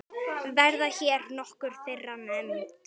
Verða hér nokkur þeirra nefnd.